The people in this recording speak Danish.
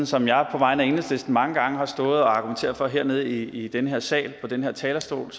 som jeg på vegne af enhedslisten mange gange har stået og argumenteret med hernede i den her sal på den her talerstol